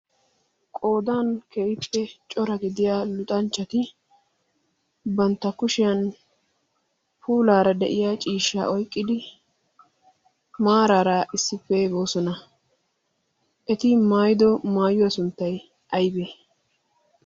qodan kehippe cora gidiya luxanchchati bantta kushiyan puulaara de'iya ciishsha oiqqidi maaraara issippe boosona. eti maayido maayuyo sunttay aybee?